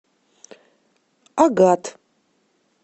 агат